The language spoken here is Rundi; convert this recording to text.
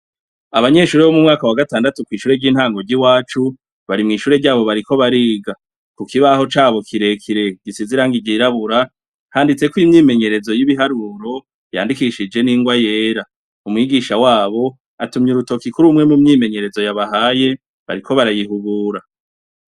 Abanyeshure bo mu mwaka wa gatandatu kw’ishure ry’intango ry’iwacu bari mw’ishure ryabo bariko bariga. Ku kibaho cabo kire kire gisize irangi ry'irabura, handitseko imyimenyerezo y’ibiharuro yandikishije n’ingwa yera. Umwigisha wabo atumye urutoke kuri umwe mu myimenyerezo yabahaye bariko barayihubura.